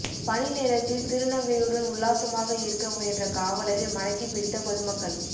பணி நேரத்தில் திருநங்கையுடன் உல்லாசமாக இருக்க முயன்ற காவலரை மடக்கிப் பிடித்த பொதுமக்கள்